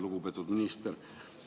Lugupeetud minister!